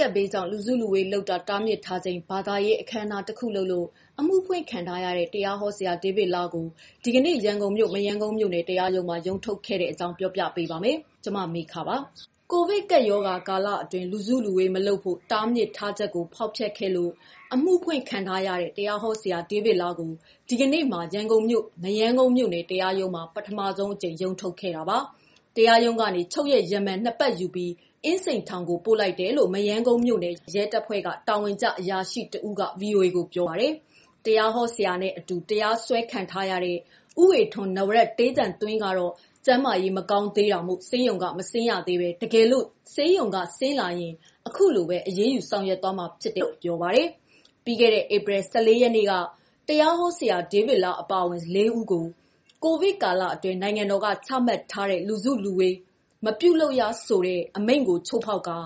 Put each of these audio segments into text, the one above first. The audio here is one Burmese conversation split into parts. ကပ်ဘေးကြောင့် လူစုလူဝေးလုပ်တာတားမြစ်ထားချိန် ဘာသာရေးအခမ်းအနား တစ်ခုလုပ်လို့ အမှုဖွင့်ခံထားရတဲ့ တရားဟောဆရာ ဒေးဗစ်လားကို ဒီနေ့မှာ ရန်ကုန်မြို့ မရမ်းကုန်းမြို့နယ် တရားရုံးမှာ ရုံးထုတ်ခဲ့တာ ပြောပြပေးပါမယ်။ ဒီအကြောင်း ဗွီအိုအေမြန်မာပိုင်းသတင်းထောက် မမေခက တင်ဆက်ပေးထားပါတယ်။ ကိုဗစ်ကပ်ရောဂါကာလအတွင်း လူစုလူဝေး မလုပ်ဖို့ တားဖြစ်ထားချက်ကို ဖောက်ဖျက်ခဲ့လို့ အမှုဖွင့်ခံထားရတဲ့ တရားဟောဆရာ ဒေးဗစ်လားကို ဒီကနေ့မှာ ရန်ကုန်မြို့ မရမ်းကုန်းမြို့နယ်တရားရုံးမှာ ပထမဆုံးအကြိမ် ရုံးထုတ်ခဲ့တာပါ။ တရားရုံးကနေ ချုပ်ရက် ရမန် ၂ ပတ် ယူပြီး အင်းစိန်ထောင်ကို ပို့လိုက်တယ်လို့ မရမ်းကုန်းမြို့နယ် ရဲတပ်ဖွဲ့မှ တာဝန်ကျ အရာရှိ တဦးက ဗွီအိုအေကိုပြောပါတယ်။တရားဟောဆရာနဲ့ အတူ တရားစွဲခံထားရတဲ့ ဦးဝေထွန်း ကတော့ ကျန်းမာရေး မကောင်းသေးတာမို့ ဆေးရုံက မဆင်းရသေးဘဲ တကယ်လို့ ဆေးရုံက ဆင်းလာရင် အခုလိုပဲ အရေးယူသွားမှာလို့ ပြော ပါတယ်။ ပြီးခဲ့တဲ့ ဧပြီ ၁၄ ရက်က တရားဟောဆရာ ဒေးဗစ်လားအပါအဝင် ၄ ဦးကို COVID ကာလအတွင်း နိုင်ငံတော်က ချမှတ်ထားတဲ့ လူစုလူဝေး မပြုလုပ်ရဆိုတဲ့ အမိန့်ကို ချိုးဖောက်ခါ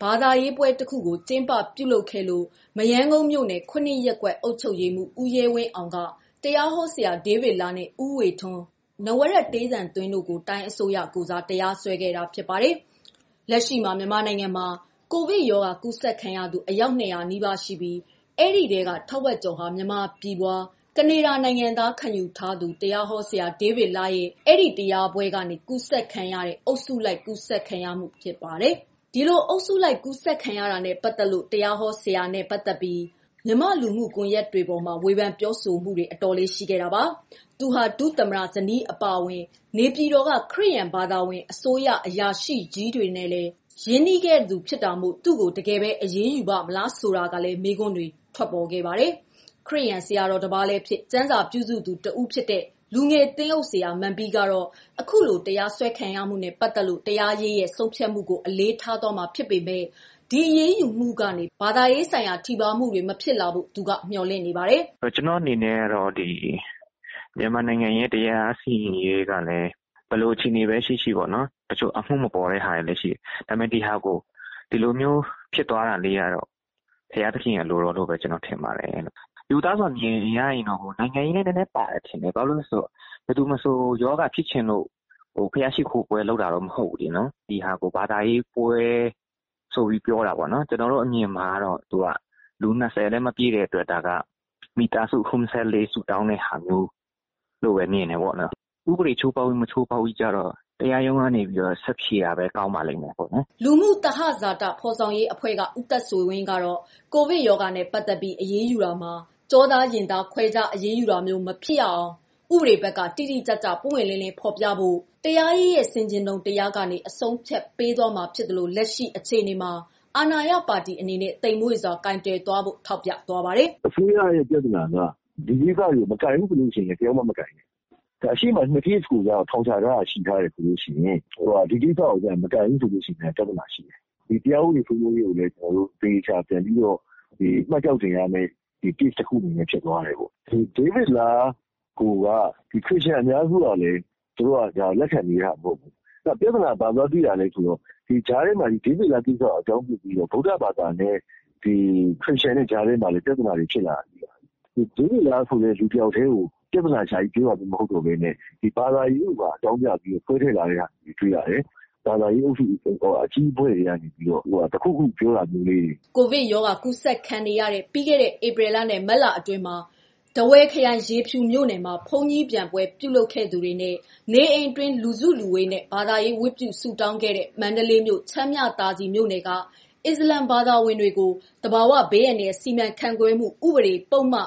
ဘာသာရေးပွဲတစ်ခုကိုကျင်းပပြုလုပ်ခဲ့လို့ မရမ်းကုန်းမြို့နယ် ရပ်ကွက်အုပ်ချုပ်ရေးမှူး ဦးရဲဝင်းအောင်က တရားဟောဆရာဒေးဗစ်လား နဲ့ ဦးဝေထွန်း တို့ကို တိုင်းအစိုးရ ကိုယ်စား တရားစွဲခဲ့ပါတယ်။ လက်ရှိမှာ မြန်မာနိုင်ငံမှာ ကိုဗစ် ရောဂါကူးစက်ခံရသူ အယောက် ၂၀၀ နီးပါးရှိနေပြီး အဲဒီထဲက ထက်ဝက်ကျော်ဟာ မြန်မာပြည်ဖွား ကနေဒါနိုင်ငံသား ခံယူထားသူ တရားဟောဆရာ ဒေးဗစ်လားရဲ့ ဒီတရားပွဲကျင်းပရာကနေ ကူးစက်ခံရတဲ့ အုပ်စုလိုက်ကူးစက်မှု ဖြစ်ပါတယ်။ ဒီလို အုပ်စုလိုက်ကူးစက်ခံရတာနဲ့ ပတ်သတ်လို့ တရားဟောဆရာနဲ့ ပတ်သတ်ပြီး မြန်မာလူမှုကွန်ယက်တွေပေါ်မှာ ဝေဖန်ပြောဆိုမှုတွေ အတော်လေး ရှိခဲ့တာပါ။ သူဟာ ဒုသမ္မတ ဇနီးအပါအဝင် နေပြည်တော်က ခရစ်ယာန်ဘာသာဝင် အစိုးရအရာရှိကြီးတွေနဲ့လည်း ရင်းနှီးသူဖြစ်တာမို့ သူ့ကို တကယ်ပဲ အရေးယူပါ့မလားဆိုတာလည်း မေးခွန်းတွေဖြစ်ခဲ့ပါတယ်။ ခရစ်ယာန် ဆရာတော်တပါးလည်းဖြစ် ကျမ်းစာပြုစုသူ တဦးဖြစ်တဲ့ လူငယ်သင်းအုပ် ဆရာမန်ပီးကတော့ အခုလို တရားစွဲခံရမှုနဲ့ ပတ်သတ်လို့ တရားရေးရဲ့ ဆုံးဖြတ်မှုကို အလေးထား သွားမှာဖြစ်ပေမယ့် လတ်တလော ဒီအရေးယူမှုကနေ ဘာသာရေးဆိုင်ရာထိပါးမှုတွေ မဖြစ်လာဖို့ သူကမျှော်လင့်နေပါတယ်။ "ကျနော်အနေနဲ့ မြန်မာတရားစီရင်ရေးက ဘယ်လိုပဲ ရှိရှိ။ တချို့က အမှုမပေါ်တာဖြစ်တာလည်းရှိတယ်။ ဒီလို ဖြစ်တာကတော့ ဘုရားသခင်အလိုတော်အတိုင်းပါပဲ။ ရိုးသားစွာမြင်တာကတော့ ဒါကနိုင်ငံရေးနွယ်မယ် ထင်တယ်။ ဘယ်သူမဆိုရောဂါဖြစ်ချင်လို့တော့ ဘုရားရှိခိုးပွဲ လုပ်တာမဟုတ်ဘူး။ နောက်လူ ၂၀ ပဲဆိုတာက ဒါက ပွဲမဟုတ်ဘူး။ ဘာသာရေးဆိုင်ရာ မိသားစုဆုတောင်းပွဲ သတ်သတ်ပဲ ဖြစ်တယ်။ ဥပဒေချိုးဖောက်တာ၊ မဖောက်တာကတော့ တရားရုံးက ဆက်ဖြေတာပဲ ကောင်းပါလိမ့်မယ်။" လူမှုသဟဇာတ ဖော်ဆောင်ရေးအဖွဲ့မှ ဦးသက်ဆွေဝင်းကတော့ ကိုဗစ် ရောဂါနဲ့ ပတ်သတ်ပြီး အရေးယူတာမှာ ကျောသားရင်သား ခွဲခြားအရေးယူတာမျိုး မဖြစ်စေရအောင် ဥပဒေဘက်က တိတိကျကျ ပွင့်ပွင့်လင်းလင်းဖော်ပြနိုင်ဖို့ က တရားရေးရဲ့ဆင်ခြင်တုံတရားကနေ အဆုံးအဖြတ်ပေးသွားမှာ ဖြစ်သလို လက်ရှိ အခြေအနေမှာ အာဏာရပါတီအနေနဲ့ သိမ့်မွေ့စွာ ကိုင်တွယ်တတ်ဖို့ ထောက်ပြသွားပါတယ်။ "အစိုးရပြဿနာက မကိုင်ဘူးဆိုရင် ဒီလိုဟာတွေကိုပါမကိုင်နဲ့။ အရှေ့မှာ ကေစ် ၂ခုကိုထောင်ချထားတယ်။ ဒီကိစ္စကို မကိုင်ရင်လည်း ပြဿနာရှိတယ်။ ဘယ်လိုကိုင်ရမလဲ ဆိုတာ ကွန်ထရိုဗာရှယ် တခုဖြစ်သွားတယ်။ တရားဥပဒေကို မှတ်ကျောက်တင်ရမယ့် case ဖြစ်သွားမယ်။ ဒေးဗစ်လားကိုက ခရစ်ယာန် အများစုက လက်မခံဘူး၊ ပြဿနာဘာတွေ့လဲ ဆို ဒီကြားထဲ ဗုဒဘာသာနဲ့ ခရစ်ယာန်ကြား ပြဿနာဖြစ်လာတယ်။ ဒေးဗစ်လားကိုဘဲ ဦးတည်ပြောတာ မဟုတ်တော့ဘဲ ဘာသာရေးကို ပါလာတယ်။ ဘာသာရေးပဋိပကဖြစ်ဖို့ အလားအလာများလာတယ်။ ဘာသာရေးအဖွဲ့ အကြီးအကဲတွေက ဝင်ထိန်းဖို့ လိုမယ်ထင်တယ်။" ကိုဗစ် ရောဂါကူးစက်ခံနေရတဲ့ ပြီးခဲ့တဲ့ ဧပြီလနဲ့ မတ်လ အတွင်းမှာ ထားဝယ်ခရိုင် ရေဖြူမြို့နယ် မှာ ဘုန်းကြီးပျံပွဲလုပ်ခဲ့သူ တွေနဲ့ နေအိမ်အတွင်း လူစုလူဝေးနဲ့ ဘာသာရေးဝတ်ပြုဆုတောင်းခဲ့တဲ့ မန္တလေးမြို့၊ ချမ်းမြသာစည်မြို့နယ်က အစ္စလမ်ဘာသာဝင်တို့ကို သဘာဝဘေးအန္တရာယ်စီမံခန့်ခွဲမှု ဥပေဒ ပုဒ်မ ၃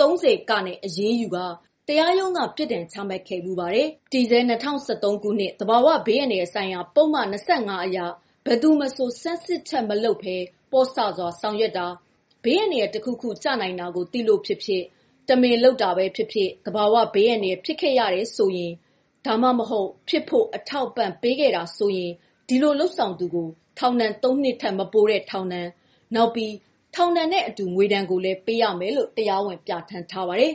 ၀ နဲ့ အရေးယူကာ တရားရုံးက ထောင်ဒဏ်ပြစ်ဒဏ် ချမှတ်ခဲ့ဖူးပါတယ်။ တည်ဆဲ ၂၀၁၃ ခုနှစ် သဘာဝဘေးအန္တရာယ်ဆိုင်ရာ ပုဒ်မ ၂၅ အရ ဘယ်သူမဆို ဆန်းစစ်ချက်မပြုလုပ်ဘဲနဲ့ ပေါ့ဆစွာ ဆောင်ရွက်တာ၊ ဘေးအန္တရာယ် တခုခု ကျနိုင်တာကို သိလို့ ဖြစ်စေ တမင်လုပ်လို့ဖြစ်စေ သဘာဝဘေးအန္တရာယ်ဖြစ်ခဲ့ရတာ ဒါမှမဟုတ်ဖြစ်ဖို့ အထောက်အပံ့ပေးတာဖြစ်ခဲ့တယ်ဆို ဒီလိုလုပ်ဆောင် သူကိုထောင်ဒဏ် ၃ နှစ်ထက် မပိုတဲ့ ထောင်ဒဏ်၊ နောက်ပြီး ထောင်ဒဏ်နဲ့အတူ ငွေဒဏ်ကိုလည်း ပေးနိုင်တယ်လို့ ပြဌာန်းထားပါတယ်။